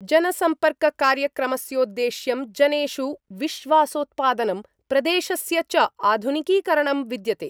जनसम्पर्ककार्यक्रमस्योद्देश्यं जनेषु विश्वासोत्पादनं प्रदेशस्य च आधुनिकीकरणं विद्यते।